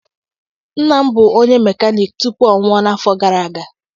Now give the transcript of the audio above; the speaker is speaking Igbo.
Nna m bụ onye mekaniki tupu ọ nwụọ n'afọ gara aga